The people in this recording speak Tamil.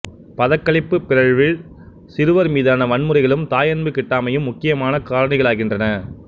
பதகளிப்புப் பிறழ்வில் சிறுவர் மீதான வன்முறைகளும் தாயன்பு கிட்டாமையும் முக்கியமான காரணிகளாகின்றன